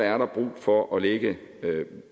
er der brug for at lægge